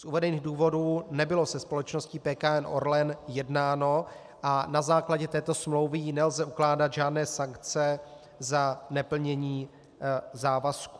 Z uvedených důvodů nebylo se společností PKN Orlen jednáno a na základě této smlouvy jí nelze ukládat žádné sankce za neplnění závazků.